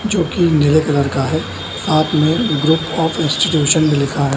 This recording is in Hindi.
जो की नीले कलर का है सात में ग्रुप ऑफ़ इंस्टीटूशन भी लिखा है।